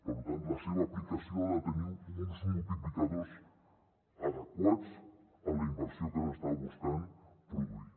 per tant la seva aplicació ha de tenir uns multiplicadors adequats a la inversió que s’està buscant produir